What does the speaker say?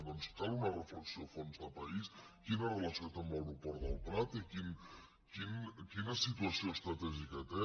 doncs cal una reflexió a fons de país quina relació té amb l’aeroport del prat i quina situació estratègica té